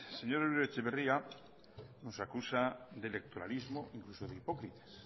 señor uribe etxebarria nos acusa de electoralismo e incluso de hipócritas